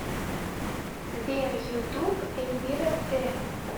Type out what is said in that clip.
сбер ютуб эльвира тэ